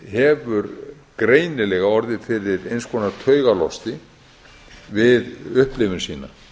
hefur greinilega orðið fyrir eins konar taugalost við upplifun sína